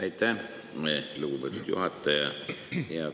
Aitäh, lugupeetud juhataja!